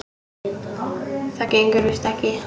Það gengur víst ekki.